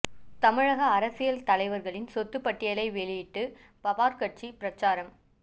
தமிழக அரசியல் தலைவர்களின் சொத்து பட்டியலை வெளியிட்டு பவார் கட்சி பிரச்சாரம்